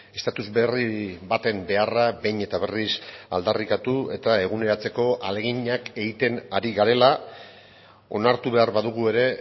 estatus berri baten beharra behin eta berriz aldarrikatu eta eguneratzeko ahaleginak egiten ari garela onartu behar badugu ere